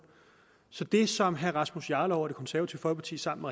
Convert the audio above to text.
så det som herre rasmus jarlov fra det konservative folkeparti sammen